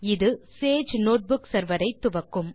இது Sage notebook server ஐ துவக்கும்